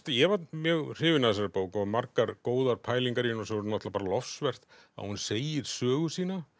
ég var mjög hrifinn af þessari bók og margar góðar pælingar í henni og svo náttúrulega bara lofsvert að hún segir sögu sína